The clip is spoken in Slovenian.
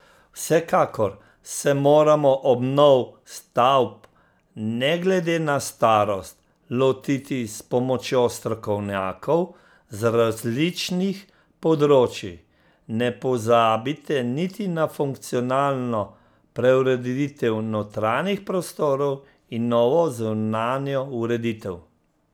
Vsekakor se moramo obnov stavb, ne glede na starost, lotiti s pomočjo strokovnjakov z različnih področij, ne pozabite niti na funkcionalno preureditev notranjih prostorov in novo zunanjo ureditev.